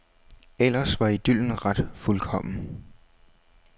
Ellers var idyllen ret fuldkommen.